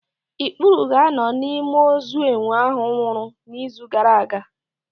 Ikpuru ga-anọ n'ime ozu enwe ahụ nwụrụ n'izu gaara aga.